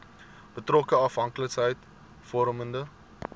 betrokke afhanklikheids vormende